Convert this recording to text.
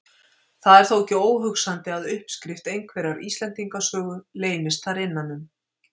Það er þó ekki óhugsandi að uppskrift einhverrar Íslendingasögu leynist þar innan um.